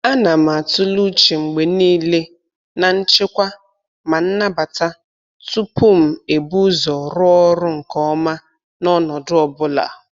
A na m atụle uche mgbe niile na nchekwa ma nnabata tupu m ebu ụzọ rụọ ọrụ nke ọma n'ọnọdụ ọ bụla.